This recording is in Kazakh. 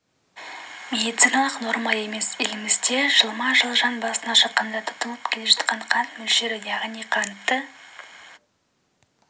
медициналық норма емес елімізде жылма-жыл жан басына шаққанда тұтынылып келе жатқан қант мөлшері яғни қантты